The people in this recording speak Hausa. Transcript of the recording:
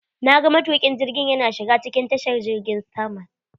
Na ga matukin jirgiin yana shiga cikin tashar jirgin sama.